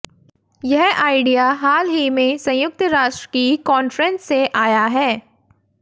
यह आइडिया हाल ही में संयुक्त राष्ट्र की कॉन्फ्रेंस से आया है